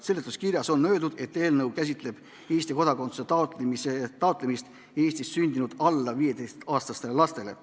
Seletuskirjas on öeldud, et eelnõu käsitleb Eesti kodakondsuse taotlemist Eestis sündinud alla 15-aastastele lastele.